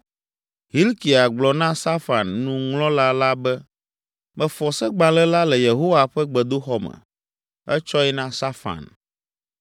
Hilkia gblɔ na Safan, nuŋlɔla la be, “Mefɔ Segbalẽ la le Yehowa ƒe gbedoxɔ me.” Etsɔe na Safan.